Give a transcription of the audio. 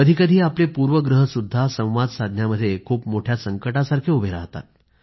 कधीकधी आपले पूर्वग्रहसुद्धा संवाद साधण्यामध्ये खूप मोठ्या संकटासारखे उभे राहतात